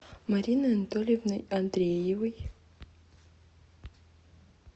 мариной анатольевной андреевой